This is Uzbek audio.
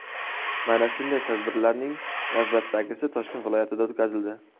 Mana shunday tadbirlarning navbatdagisi Toshkent viloyatida o‘tkazildi.